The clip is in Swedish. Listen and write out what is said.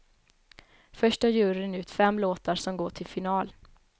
Först tar juryn ut fem låtar som går till final.